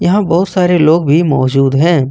यहां बहुत सारे लोग भी मौजूद हैं।